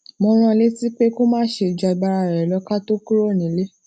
mo rán an létí pé kó má ṣe ju agbaralo ká tó kúrò nílé